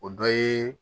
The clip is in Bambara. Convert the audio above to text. O dɔ ye